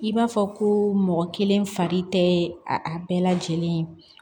I b'a fɔ ko mɔgɔ kelen fari tɛ a bɛɛ lajɛlen ye